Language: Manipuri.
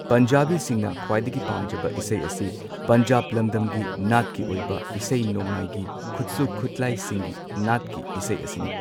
ꯄꯟꯖꯥꯕꯤꯁꯤꯡꯅ ꯈ꯭ꯋꯥꯏꯗꯒꯤ ꯄꯥꯝꯖꯕ ꯏꯁꯩ ꯑꯁꯤ ꯄꯟꯖꯥꯕ ꯂꯝꯗꯝꯒꯤ ꯅꯥꯠꯀꯤ ꯑꯣꯏꯕ ꯏꯁꯩ ꯅꯣꯡꯃꯥꯢꯒꯤ ꯈꯨꯠꯁꯨ ꯈꯨꯠꯂꯥꯥꯏꯁꯤꯡꯒꯤ ꯅꯥꯠꯀꯤ ꯏꯁꯩ ꯑꯁꯤꯅꯤ꯫